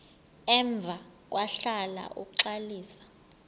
emva kwahlala uxalisa